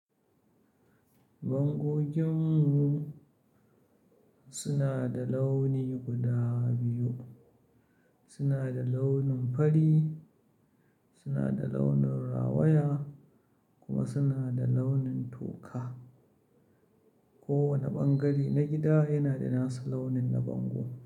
Bangogin mu suna da launi guda biyu. Suna da launin fari, suna da launin rawaya kuma suna da launin toka. Kowane ɓangare na gida yana da nasa launin na bango.